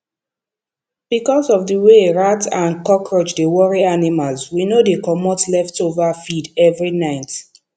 because of the way rat and cockroach dey worry animals we no dey comot leftover feed every night